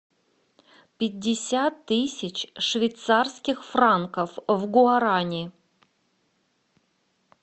пятьдесят тысяч швейцарских франков в гуарани